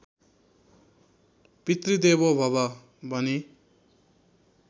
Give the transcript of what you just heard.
पितृदेवो भवः भनी